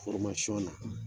na